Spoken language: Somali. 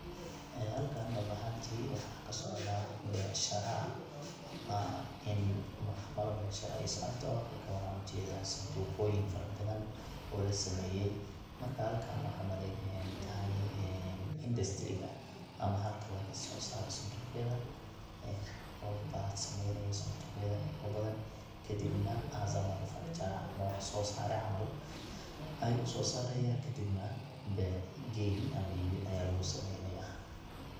ee halkan dhab ahantii waxaa kasocda dabcan becshira ama ama in macamalo becshira ay socoto marka waxan ujedaa santuqoyin fara badan oo la sameeyay marka halkan waxan umaleynaya inay tahay indastriga ama halka lagaso saaro santuqyada ee qof ba sameeynaya santuqyada ayago badan kadib na as a manufacturer ama wax soo saare camal ayu uso saaraya kadibna bec geyn ama iibin aya lugu sameeynaya